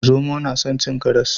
Zomo na san cin karas